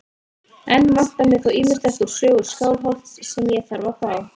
Enn vantar mig þó ýmislegt úr sögu Skálholts sem ég þarf að fá.